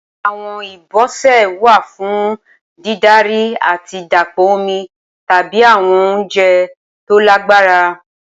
Awọn ibọsẹ wa fun didari ati dapọ omi tabi awọn ounjẹ to lagbara.